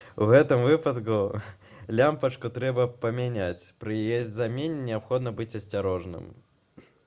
у гэтым выпадку лямпачку трэба памяняць пры яе замене неабходна быць асцярожным